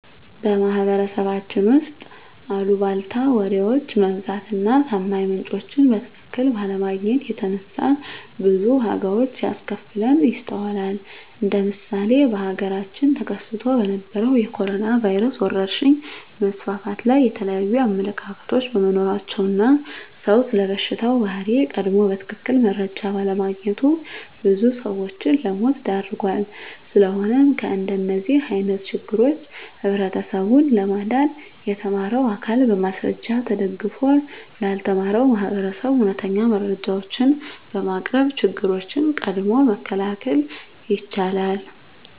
በማህበረሰባችን ውስጥ አልቧልታ ወሬዎች መብዛት እና ታማኝ ምንጮችን በትክክል ባለማግኘት የተነሳ ብዙ ዋጋዎች ሲያስከፍለን ይስተዋላል እንደ ምሳሌ በሀገራችን ተከስቶ በነበረዉ የኮሮኖ ቫይረስ ወረርሽኝ መስፋፋት ላይ የተለያዩ አመለካከቶች በመኖራቸው እና ሰዉ ስለበሽታው ባህሪ ቀድሞ በትክክል መረጃ ባለማግኘቱ ብዙ ሰዎችን ለሞት ዳርጓል። ስለሆነም ከእንደዚህ አይነት ችግሮች ህብረተሰቡን ለማዳን የተማረው አካል በማስረጃ ተደግፎ ላልተማረው ማህበረሰብ እውነተኛ መረጃዎችን በማቅረብ ችግሮችን ቀድሞ መከላከል ይቻላል።